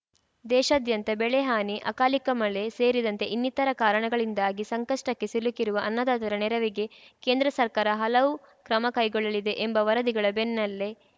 ದೇಶಾದ್ಯಂತ ಬೆಳೆಹಾನಿ ಅಕಾಲಿಕ ಮಳೆ ಸೇರಿದಂತೆ ಇನ್ನಿತರ ಕಾರಣಗಳಿಂದಾಗಿ ಸಂಕಷ್ಟಕ್ಕೆ ಸಿಲುಕಿರುವ ಅನ್ನದಾತರ ನೆರವಿಗೆ ಕೇಂದ್ರ ಸರ್ಕಾರ ಹಲವು ಕ್ರಮ ಕೈಗೊಳ್ಳಲಿದೆ ಎಂಬ ವರದಿಗಳ ಬೆನ್ನಲ್ಲೇ